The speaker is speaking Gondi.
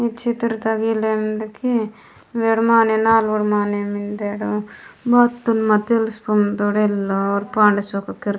इच्छित्रता गिंदल वेर माने नल वेर माने मिंडा वत मतसय ल पुंडे रेलो पांडसव के कृत --